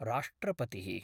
राष्ट्रपतिः